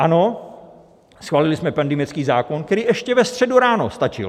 Ano, schválili jsme pandemický zákon, který ještě ve středu ráno stačil.